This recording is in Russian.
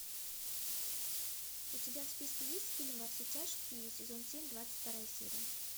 у тебя в списке есть фильм во все тяжкие сезон семь двадцать вторая серия